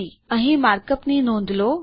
અહીં markup ની નોંધ લો